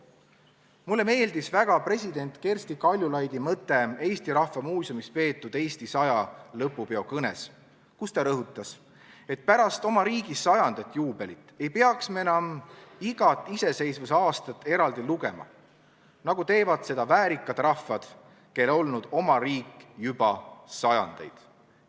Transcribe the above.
Mulle meeldis väga president Kersti Kaljulaidi mõte Eesti Rahva Muuseumis peetud "Eesti 100" lõpupeo kõnes, kus ta rõhutas, et pärast oma riigi saja aasta juubelit ei peaks me enam igat iseseisvuse aastat eraldi lugema, samamoodi nagu väärikad rahvad, kel on olnud oma riik juba sajandeid.